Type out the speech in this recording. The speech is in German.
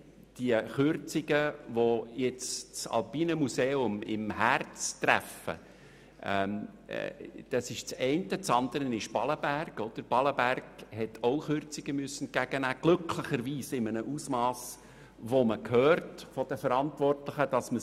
Die Kürzungen, die nun das Alpine Museum im Herzen treffen, sind das eine, das andere ist das Freilichtmuseum Ballenberg, welches auch Kürzungen entgegennehmen muss, allerdings glücklicherweise in einem verdaubaren Ausmass, wie man von den Verantwortlichen gehört hat.